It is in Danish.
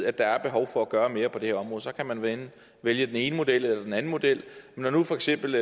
at der er behov for at gøre mere på det her område så kan man vælge vælge den ene model eller den anden model når det for eksempel